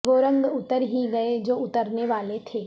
وہ رنگ اتر ہی گئے جو اترنے والے تھے